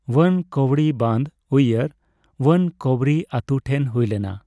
ᱚᱣᱟᱱᱠᱚᱵᱲᱤ ᱵᱟᱸᱫᱷ (ᱩᱭᱭᱟᱨ) ᱳᱣᱟᱱᱠᱚᱵᱨᱤ ᱟᱛᱳ ᱴᱷᱮᱱ ᱦᱩᱭ ᱞᱮᱱᱟ ᱾